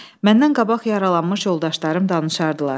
Məndən qabaq yaralanmış yoldaşlarım danışardılar.